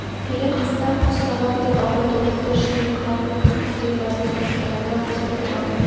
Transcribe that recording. келер қыста құс салам деп абай тобықты ішінен қыран бүркіт кімде барын сұрастырғанда осы тұрғанбай